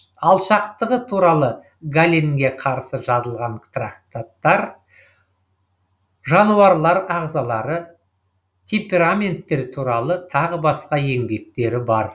алшақтығы туралы галенге қарсы жазылған трактаттар жануарлар ағзалары темпераменттер туралы тағы басқа еңбектері бар